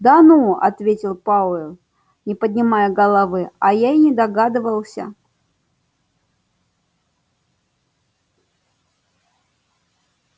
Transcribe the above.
да ну ответил пауэлл не поднимая головы а я и не догадывался